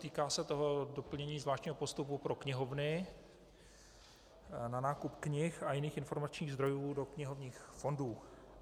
Týká se to doplnění zvláštního postupu pro knihovny na nákup knih a jiných informačních zdrojů do knihovních fondů.